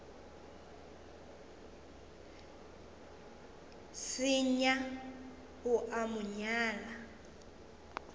senya o a mo nyala